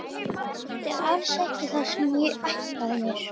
Þetta er alls ekki það sem ég ætlaði mér.